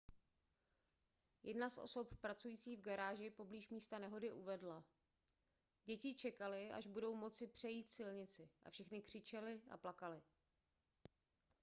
jedna z osob pracující v garáži poblíž místa nehody uvedla děti čekaly až budou moci přejít silnici a všechny křičely a plakaly